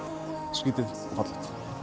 skrítið